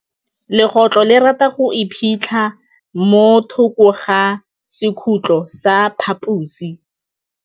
Legôtlô le rata go iphitlha mo thokô ga sekhutlo sa phaposi.